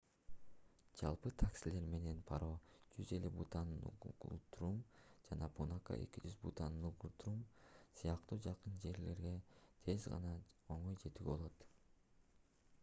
жалпы таксилер менен паро 150 бутан нгултрум жана пунака 200 бутан нгултрум сыяктуу жакын жерлерге тез жана оңой жетүүгө болот